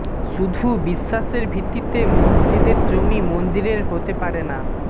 শুধু বিশ্বাসের ভিত্তিতে মসজিদের জমি মন্দিরের হতে পারে না